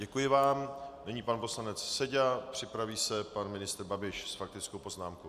Děkuji vám, nyní pan poslanec Seďa, připraví se pan ministr Babiš s faktickou poznámkou.